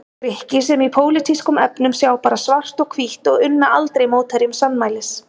Grikki sem í pólitískum efnum sjá bara svart og hvítt og unna aldrei mótherjum sannmælis.